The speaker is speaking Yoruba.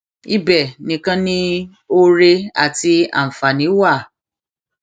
ibẹ nìkan ni oore àti àǹfààní wà